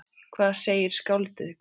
Hvað segir skáldið gott?